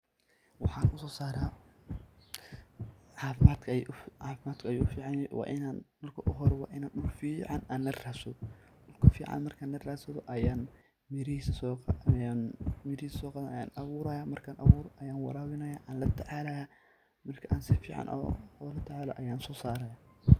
Waxan usosara cafimadka ayu ufican yahay, marki ogu hore wa inan dul fican laradsadho, dulka fican markan la radsado ayan mirihisa soqadanaya ayan aburayah markan aburo ayan warabinaya, an latacalayah markan sifican ola tacalo ayan sosarayah.